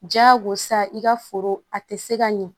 Diyagosa i ka foro a tɛ se ka ɲɛ